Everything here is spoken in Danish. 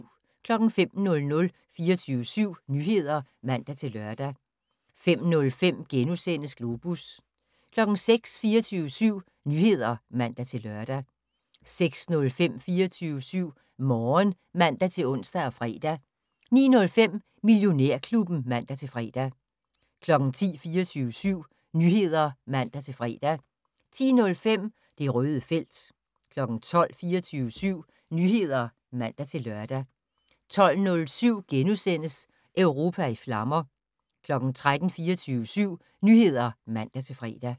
05:00: 24syv Nyheder (man-lør) 05:05: Globus * 06:00: 24syv Nyheder (man-lør) 06:05: 24syv Morgen (man-ons og fre) 09:05: Millionærklubben (man-fre) 10:00: 24syv Nyheder (man-fre) 10:05: Det Røde felt 12:00: 24syv Nyheder (man-lør) 12:07: Europa i flammer * 13:00: 24syv Nyheder (man-fre)